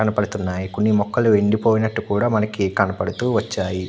కనబడుతున్నాయి కొన్ని మొక్కలు కూడా ఎండిపోయినట్టు మనకు కనబడుతూ వచ్చాయి.